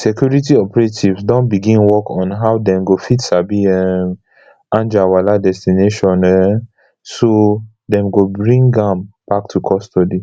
security operatives don begin work on how dem go fit sabi um anjarwalla destination um so dem go bring am back to custody